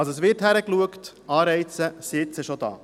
Es wird somit hingeschaut, und Anreize sind schon da.